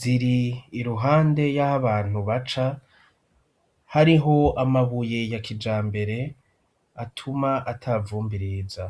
ziri iruhande yaho abantu baca hariho amabuye ya kijambere atuma ata vumbi riza.